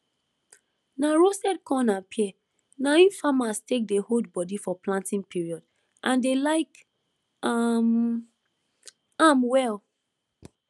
na roasted corn and pear na im farmers take dey hold body for planting period and dey like um am well